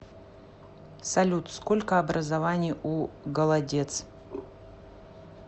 салют сколько образований у голодец